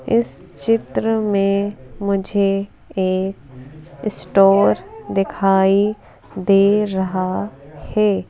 इस चित्र में मुझे एक स्टोर दिखाई दे रहा है।